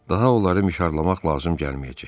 Daha onları mişarlamaq lazım gəlməyəcək.